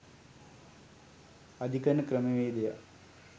අධිකරණ ක්‍රමවේදයක්